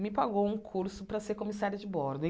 me pagou um curso para ser comissária de bordo.